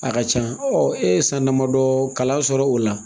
A ka ca e ye san damadɔ kalan sɔrɔ o la